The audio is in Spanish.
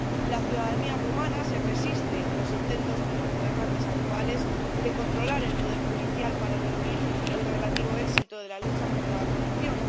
La ciudadanía rumana se resiste a los intentos de los gobernantes actuales de controlar el poder judicial para diluir el relativo éxito de la lucha contra la corrupción.